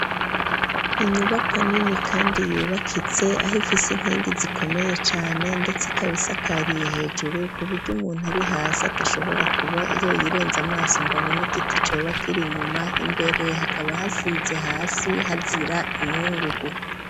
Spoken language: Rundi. Inyubako hanini kandi yubakitse aho ifise inkingi zikomeye cane ndetse ikabisa akariye hejuru kuburyo umuntu ari hasi atashobora kuba yo yirenze amaso ngo abona igiti cobakiri nyuma imbere hakaba hasize hasi hazira inkungugu.